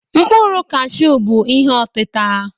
Mkpụrụ kashụ bụ ihe ọtịta.